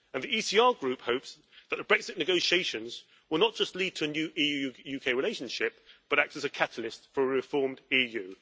The ECR Group hopes that the Brexit negotiations will not just lead to a new EU UK relationship, but act as a catalyst for a reformed EU.